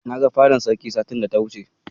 Na ga fadar Sarkin satin da ya wuce.